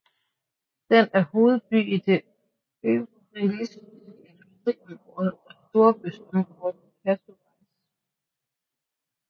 Den er hovedby i det Øvreschlesiske industriområde og storbyområdet Katowice